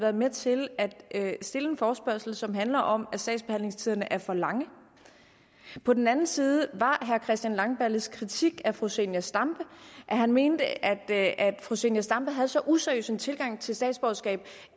været med til at stille en forespørgsel som handler om at sagsbehandlingstiderne er for lange og på den anden side var herre christian langballes kritik af fru zenia stampe at han mente at fru zenia stampe havde så useriøs en tilgang til statsborgerskab